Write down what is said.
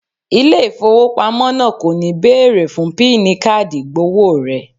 Ilé ìfowópamọ́ náà kò ní bẹ̀ẹ̀rè fún píìnì káàdì ìgbọ̀wọ́ rẹ